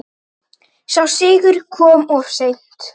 Sá sigur kom of seint.